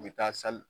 U bɛ taa